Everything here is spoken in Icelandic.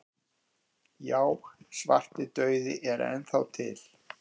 Já, svartidauði er enn þá til.